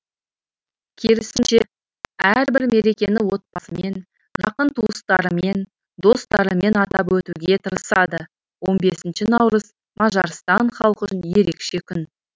керісінше әрбір мерекені отбасымен жақын туыстарымен достарымен атап өтуге тырысады он бесінші наурыз мажарстан халқы үшін ерекше күн